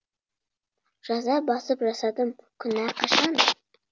жаза басып жасадым күнә қашан